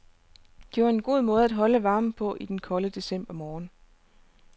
Det var en god måde at holde varmen på i den kolde decembermorgen.